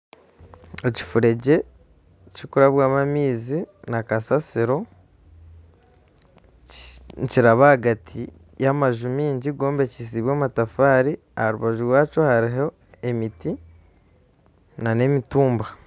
Ekifuregye kikurabwamu amaizi na kasaasiro nikiraba ahagati y'amanju maingi gombekyisibwe amatafaari aharubaju rwakyo hariho emiti na n'emitumba.